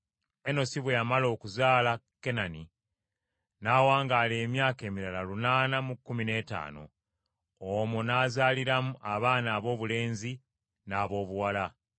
Enosi bwe yamala okuzaala Kenani n’awangaala emyaka emirala lunaana mu kkumi n’etaano, omwo n’azaaliramu abaana aboobulenzi n’aboobuwala.